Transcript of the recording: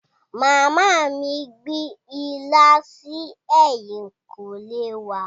Màmá mí gbin ilá si ẹ̀yìnkùlé wa.